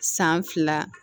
San fila